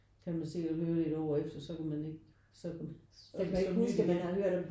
Kan man sikkert høre det 1 år efter så kan man ikke så er det som nyt igen